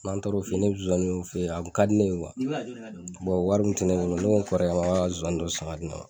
N'an taara o fe yen ne be zonzaniw fe yen a kun ka di ne ye kuwa bɔn wari kun te ne bolo ne n kɔrɔkɛ ma k'a ka zonzani dɔ san ka di ne ma